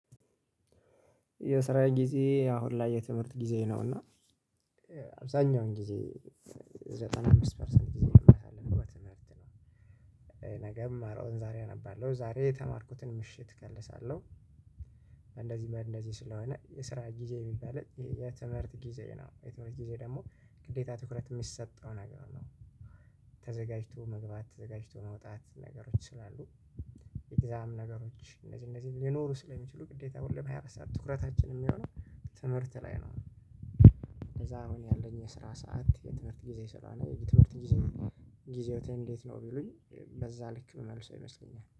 የሰራ ጊዜ አሁን ላይ የትምህርት ጊዜ ነው እና አብዛኛውን ጊዜ ዘጠና ምስት ፐርሰንት ጊዜዬን እማሳልፈው በትምህርት ላይ ነው። ነገ አምማረውን ዛሬ አነባለሁ ዛሬ የተማርኩትን ምሽት እከልሳለሁ። እንደዚህ እንደዚህ ስለሆነ የስራ ጊዜ እሚባል የትምህርት ጊዜ ነው የትምህርት ጊዜ ደሞ ግዴታ ትኩረት የሚሰጠው ነገር ነው። ተዘጋጅቶ መግባት ተዘጋጅቶ መውጣት ነገሮች ስላሉ። ኤግዛም ነገሮች እነዚህ እነዚህ ሊኖሩ ስለሚችሉ ግዴታ ሁለት ሃያ አራት ሰዓት ትኩረታችን እሚሆነው ትምህርት ላይ ነው። ከዛ አሁን ያለኝ የስራ ሰዓት የትምህርት ጊዜ ስለሆነ የትምህርት ጊዜ ጊዜ እንዴት ነው ቢሉኝ? በዛ ልክ እመመልስ አይመስለኝም